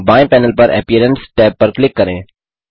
बाएँ पैनल पर appearance tab पर क्लिक करें